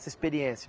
Essa experiência?